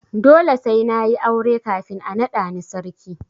Dole sai na yi aure kafin a naɗa ni sarki.